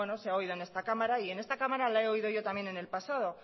se ha oído en esta cámara y en esta cámara la he oído yo también en el pasado